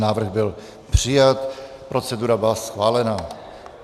Návrh byl přijat, procedura byla schválena.